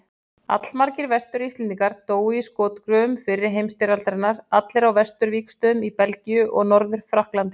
Allmargir Vestur-Íslendingar dóu í skotgröfum fyrri heimsstyrjaldarinnar, allir á vesturvígstöðvunum í Belgíu og Norður-Frakklandi.